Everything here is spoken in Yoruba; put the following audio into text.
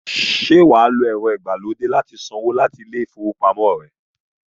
Ṣé wà á lo ẹ̀rọ-ìgbàlódé láti sanwó láti ilé-ìfowópamọ́-asanwó rẹ?